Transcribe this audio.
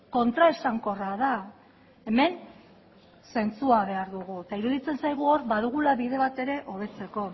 kontraesankorra da hemen zentzua behar dugu eta iruditzen zaigu hor badugula bide bat ere hobetzeko